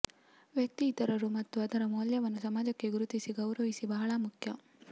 ವ್ಯಕ್ತಿ ಇತರರು ಮತ್ತು ಅದರ ಮೌಲ್ಯವನ್ನು ಸಮಾಜಕ್ಕೆ ಗುರುತಿಸಿ ಗೌರವಿಸಿ ಬಹಳ ಮುಖ್ಯ